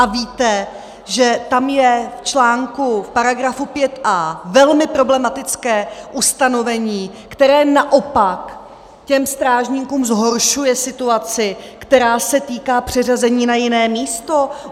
A víte, že tam je v článku, paragrafu 5a velmi problematické ustanovení, které naopak těm strážníkům zhoršuje situaci, která se týká přeřazení na jiné místo?